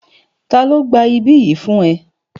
Ta ló gba ibí yìí fún ẹ?